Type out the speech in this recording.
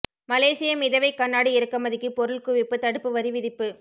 மலேசிய மிதவை கண்ணாடி இறக்குமதிக்கு பொருள் குவிப்பு தடுப்பு வரி விதிப்பு